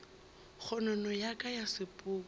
kgonono ya ka ya sepoko